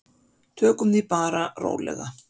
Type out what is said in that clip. Tökum því bara rólega.